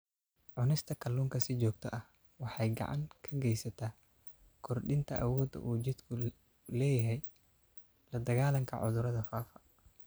Cunista kalluunka si joogto ah waxay gacan ka geysataa kordhinta awoodda uu jidhku u leeyahay la-dagaallanka cudurrada faafa.